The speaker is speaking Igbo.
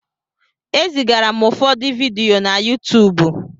E zigara m ụfọdụ vidiyo na Yuutuubu.